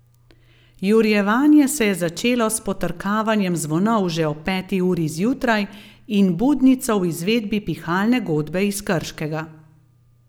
Jurjevanje se je začelo s potrkavanjem zvonov že ob peti uri zjutraj in budnico v izvedbi Pihalne godbe iz Krškega.